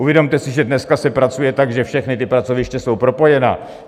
Uvědomte si, že dneska se pracuje tak, že všechna ta pracoviště jsou propojena.